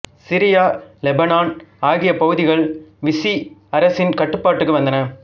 Syria Lebanon ஆகிய பகுதிகள் Vichy அரசின் கட்டுப்பாட்டுக்கு வந்தன